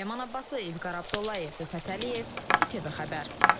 Ləman Abbaslı, İlqar Abdullayev, Rüfət Əliyev, ITV xəbər.